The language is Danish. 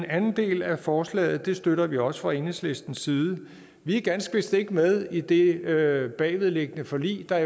anden del af forslaget støtter vi også fra enhedslistens side vi er ganske vist ikke med i det bagvedliggende forlig der